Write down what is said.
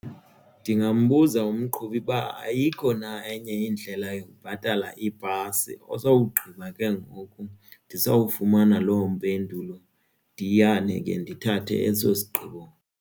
Ndingambuza umqhubi uba ayikho na enye indlela yokubhatala ibhasi osowugqiba ke ngoku ndizawufumana loo mpendulo ndiyane ke ndithathe eso sigqibo.